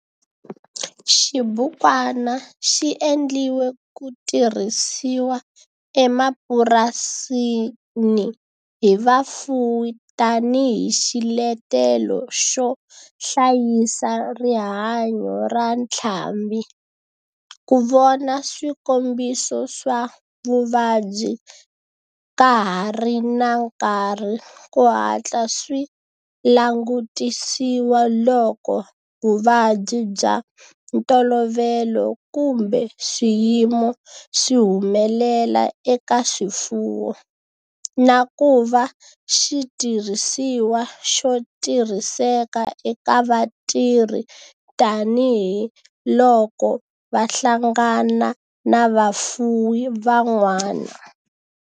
Xibukwana xi endliwe ku tirhisiwa emapurasini hi vafuwi tani hi xiletelo xo hlayisa rihanyo ra ntlhambhi, ku vona swikombiso swa vuvabyi ka ha ri na nkarhi ku hatla swi langutisiwa loko vuvabyi bya ntolovelo kumbe swiyimo swi humelela eka swifuwo, na ku va xitirhisiwa xo tirhiseka eka vatirhi tani hi loko va hlangana na vafuwi van'wana.